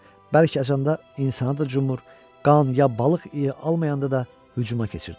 Bərk acanda insanı da cumur, qan ya balıq iyi almayanda da hücuma keçirdilər.